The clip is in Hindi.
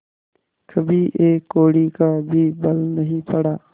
कभी एक कौड़ी का भी बल नहीं पड़ा